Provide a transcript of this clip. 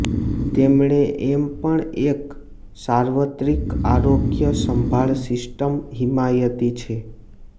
તેમણે એમ પણ એક સાર્વત્રિક આરોગ્ય સંભાળ સિસ્ટમ હિમાયતી છે